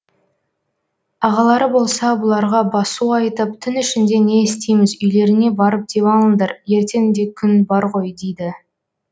ағалары болса бұларға басу айтып түн ішінде не істейміз үйлеріңе барып дем алыңдар ертең де күн бар ғой дейді